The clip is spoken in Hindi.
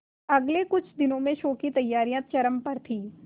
अगले कुछ दिनों में शो की तैयारियां चरम पर थी